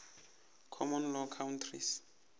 common law countries